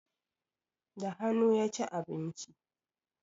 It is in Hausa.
Da hanu ya ci abinci